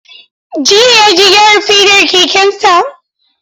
Jiya ya je gyara fedar kekensa.